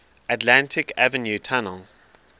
atlantic avenue tunnel